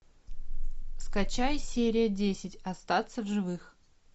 скачай серия десять остаться в живых